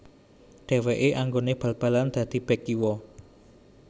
Dheweke anggone bal balan dadi bek kiwa